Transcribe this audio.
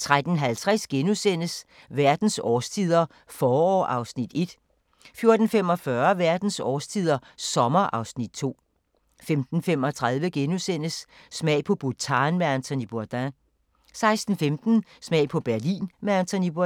13:50: Verdens årstider – forår (Afs. 1)* 14:45: Verdens årstider – sommer (Afs. 2) 15:35: Smag på Bhutan med Anthony Bourdain * 16:15: Smag på Berlin med Anthony Bourdain